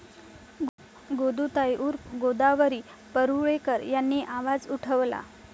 गोदूताई उर्फ गोदावरी परुळेकर यांनी आवाज उठवला.